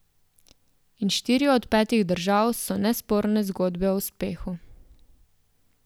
In štiri od petih držav so nesporne zgodbe o uspehu.